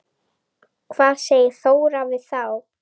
Hvað segir Þóra við þá?